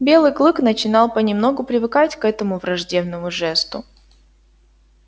белый клык начинал понемногу привыкать к этому враждебному жесту